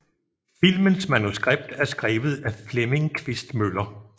Filmens manuskript er skrevet af Flemming Quist Møller